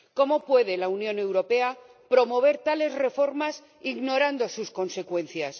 ¿Cómo puede la Unión Europea promover tales reformas e ignorar sus consecuencias?